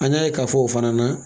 An y'a ye k'a fɔ o fana na